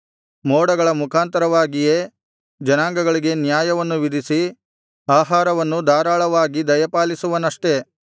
ಮೋಡಗಳ ಮುಖಾಂತರವಾಗಿಯೇ ಜನಾಂಗಗಳಿಗೆ ನ್ಯಾಯವನ್ನು ವಿಧಿಸಿ ಆಹಾರವನ್ನು ಧಾರಾಳವಾಗಿ ದಯಪಾಲಿಸುವನಷ್ಟೆ